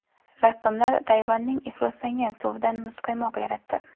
Rassomlar Tayvanning ifloslangan suvidan muzqaymoq yaratdi.